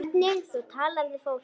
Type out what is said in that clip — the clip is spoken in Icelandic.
Hvernig þú talar við fólk.